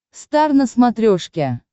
стар на смотрешке